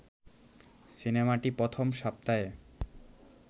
সিনেমাটি প্রথম সপ্তাহে